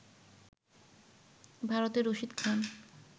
ভারতের রশিদ খান